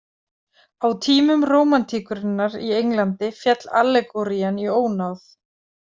Á tímum rómantíkurinnar í Englandi féll allegórían í ónáð.